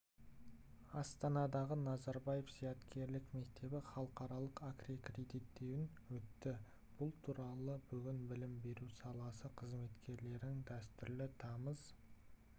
астанадағы назарбаев зияткерлік мектебі халықаралық аккредиттеуінен өтті бұл туралы бүгін білім беру саласы қызметкерлерінің дәстүрлі тамыз